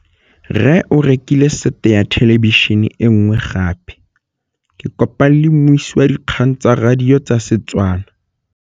Rre o rekile sete ya thêlêbišênê e nngwe gape. Ke kopane mmuisi w dikgang tsa radio tsa Setswana.